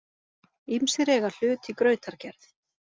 Ýmsir eiga hlut í grautargerð.